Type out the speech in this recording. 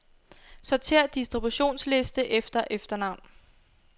Sortér distributionsliste efter efternavn.